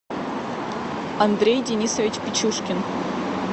андрей денисович печужкин